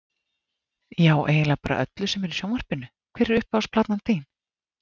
Já eiginlega bara öllu sem er í sjónvarpinu Hver er uppáhalds platan þín?